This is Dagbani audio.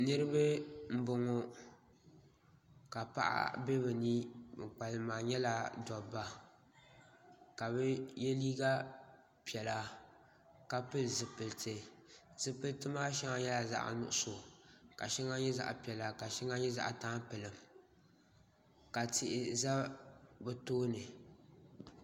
Niriba m boŋɔ ka paɣa be bɛ ni ban kpalim maa nyɛla dobba ka bɛ ye liiga piɛlla ka pili zipiliti zipiliti maa sheŋa nyɛla zaɣa nuɣuso ka nyɛ zaɣa piɛla ka sheŋa nyɛ tampilim ka tihi za bɛ tooni.